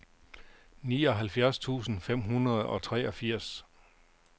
nioghalvfjerds tusind fem hundrede og treogfirs